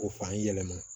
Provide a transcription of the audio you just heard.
O fan yɛlɛma